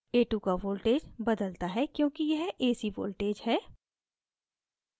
a2 का voltage बदलता है क्योंकि यह ac voltage है